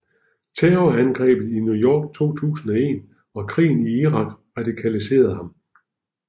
Terrorangrebet i New York 2001 og krigen i Irak radikaliserede ham